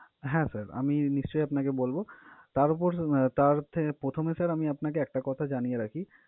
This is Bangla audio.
হ্যাঁ! sir আমি নিশ্চই আপনাকে বলবো। তার উপর তার থে~ প্রথমে sir আমি আপনাকে একটা কথা জানিয়ে রাখি